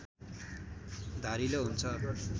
धारिलो हुन्छ